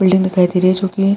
building दिखाई दे रही है जोकि --